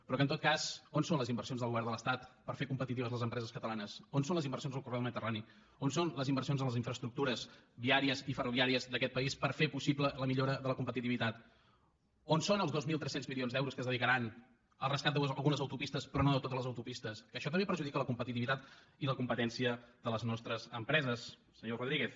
però en tot cas on són les inversions del govern de l’estat per fer competitives les empreses catalanes on són les inversions al corredor mediterrani on són les inversions a les infraestructures viàries i ferroviàries d’aquest país per fer possible la millora de la competitivitat on són els dos mil tres cents milions d’euros que es dedicaran al rescat d’algunes autopistes però no de totes les autopistes això també perjudica la competitivitat i la competència de les nostres empreses senyor rodríguez